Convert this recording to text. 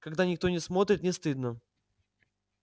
когда никто не смотрит не стыдно